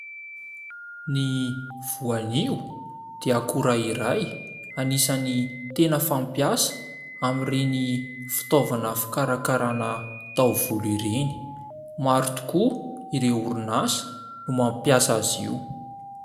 Ny voanio dia akora iray anisany tena fampiasa amin'ireny fitaovana fikarakarana taovolo ireny, maro tokoa ireo orinasa no mampiasa azy io.